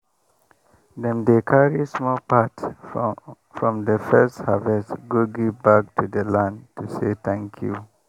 dem dey carry small part from the first harvest go give back to the land to say thank you.